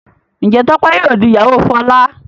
njé Tope yíò dì ìyàwó Fola?